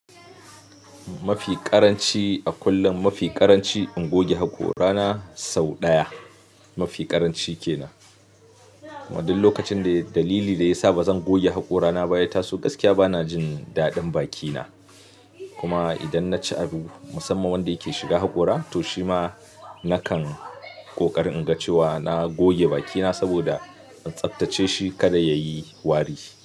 Mafi ƙaranci a kullum, mafi ƙaranci in goge haƙora na sau ɗaya mafi ƙaranci ke nan. Kuma duk lokacin da dalili da ya sa ba zan goge haƙora na ba ya taso gaskiya bana jin daɗin baki na. Kuma idan na ci abu musamman wanda yake shiga haƙora to shima nakan ƙoƙari in ga cewa na goge baki na saboda in tsattace shi kada yayi wari.